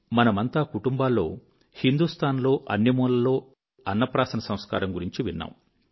మనమంతా కుటుంబాల్లో హిందూస్తాన్ లో అన్ని మూలల్లో అన్నప్రాసన సంస్కారం గురించి విన్నాము